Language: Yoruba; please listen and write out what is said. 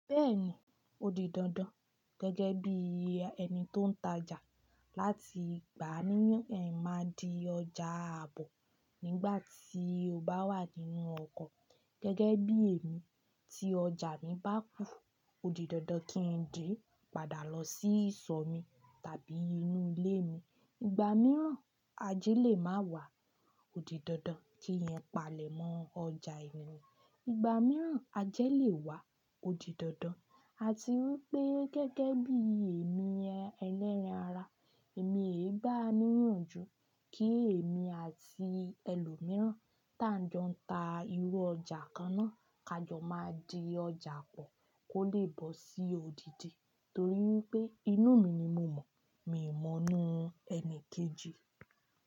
Bẹ́ẹ̀ni, ó di dandan gẹ́gẹ́ bí ẹni tó ń tajà láti gbá a níyàn ẹ máa di ọjà àbọ̀ nígbàtí o bá wà nínú ọkọ̀. Gẹ́gẹ́ bí èmi tí ọjà mi bá kù, ó di dandan kí n dè padà lọ sí ìsọ̀ mi tàbí inú ilé mi. Ìgbà mìíràn àjẹ́ lè má wà, ó di dandan kí yẹn palẹ̀ mọ́ ọjà ènìyàn. Ìgbà mìíràn àjẹ́ lè wà, ó di dandan. A ti wí pé gẹ́gẹ́ bí èmi ẹlẹ́rìn ára, èmi e gbá a níyànjú kí èmi àti ẹlòmíràn tá ń jọ ń ta irú ọjà kan náà, ká jọ máa di ọjà pọ̀ kó lè bọ́ sí odidi. Torí pé inú mi ni mo mọ̀, mi ò mọ inú ẹni kejì.